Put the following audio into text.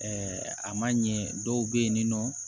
a ma ɲɛ dɔw be yen ni nɔ